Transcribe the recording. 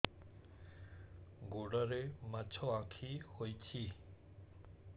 ଗୋଡ଼ରେ ମାଛଆଖି ହୋଇଛି